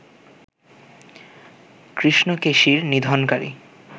কৃষ্ণকেশীর নিধনকারী